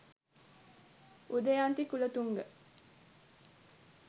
udayanthi kulathunga